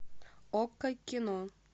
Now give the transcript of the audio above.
окко кино